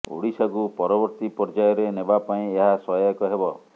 ଓଡିଶାକୁ ପରବର୍ତ୍ତୀ ପର୍ଯ୍ୟାୟରେ ନେବା ପାଇଁ ଏହା ସହାୟକ ହେବ